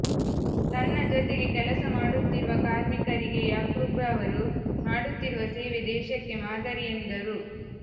ತನ್ನ ಜೊತೆಗೆ ಕೆಲಸ ಮಾಡುತ್ತಿರುವ ಕಾರ್ಮಿಕರಿಗೆ ಯಾಕೂಬ್ರವರು ಮಾಡುತ್ತಿರುವ ಸೇವೆ ದೇಶಕ್ಕೆ ಮಾದರಿ ಎಂದರು